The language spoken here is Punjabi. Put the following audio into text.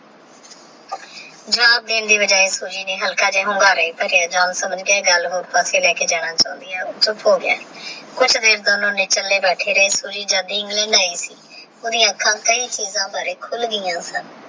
ਜਾਬ ਦੇਣ ਦੀ ਬਜਾਏ ਖੁਸ਼ੀ ਦੇ ਹਲਕਾ ਜਾ ਅਹੰਕਾਰੇ ਹੀ ਭਰੇ ਜਾਨ ਤਹ ਗੱਲ ਉਸ ਪਾਸੇ ਲੇਕਰ ਜਾਂਦੀ ਆਹ ਓਹ੍ਹ ਚੁਪ ਹੋ ਗਯਾ ਕੁਛ ਦਿਨ ਦੋਨੋ ਨੇ ਕੱਲੇ ਬੈਠੇ ਸੋਚੇ ਜਾਂਦੇ ਇੰਗ੍ਲੈੰਡ ਏ ਸੀ ਓਹਦੀ ਆਖਾਕ ਕਾਯੀ ਚੀਜ਼ਾ ਬਾਰੇ ਖੁਲ ਗਯੀ